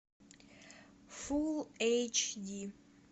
фулл эйч ди